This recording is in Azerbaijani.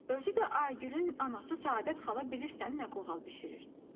Özü də Aygülün anası Səadət xala bilirsən nə qoğal bişirir.